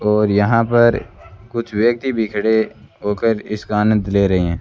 और यहां पर कुछ व्यक्ति भी खड़े होकर इसका आनंद ले रहे हैं।